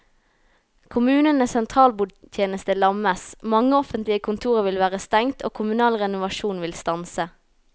Kommunenes sentralbordtjeneste lammes, mange offentlige kontorer vil være stengt og kommunal renovasjon vil stanse.